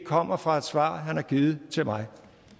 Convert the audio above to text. kommer fra et svar han har givet mig